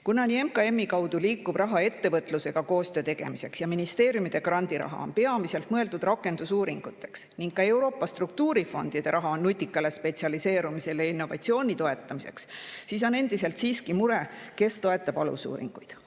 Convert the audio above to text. Kuna nii MKM-i kaudu liikuv raha ettevõtlusega koostöö tegemiseks kui ka ministeeriumide grandiraha on peamiselt mõeldud rakendusuuringuteks ning ka Euroopa struktuurifondide raha on nutika spetsialiseerumise ja innovatsiooni toetamiseks, siis on endiselt siiski mure, kes toetab alusuuringuid.